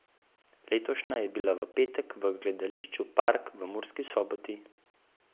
Letošnja je bila v petek v Gledališču Park v Murski Soboti.